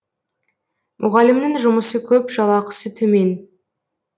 мұғалімнің жұмысы көп жалақысы төмен